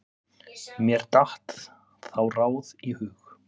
Mér datt þá ráð í hug.